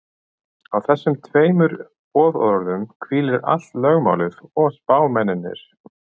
Á þessum tveimur boðorðum hvílir allt lögmálið og spámennirnir.